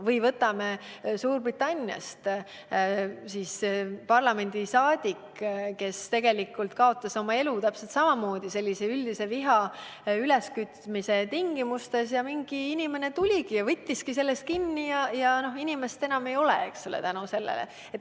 Või võtame Suurbritannia parlamendiliikme, kes kaotas elu täpselt samamoodi sellise üldise viha üleskütmise tõttu: mingi inimene tuli ja võttiski sellest kinni ja teist inimest seetõttu enam ei ole.